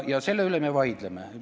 Ja selle üle me vaidleme.